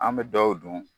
An bɛ dɔw dun